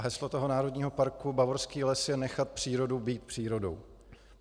A heslo toho Národního parku Bavorský les je nechat přírodu být přírodou.